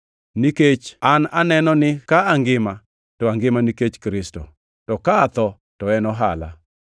Nikech an aneno ni ka angima, to angima nikech Kristo, to ka atho to en ohala.